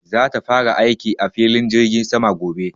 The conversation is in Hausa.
za ta fara aiki a filin jirgin sama gobe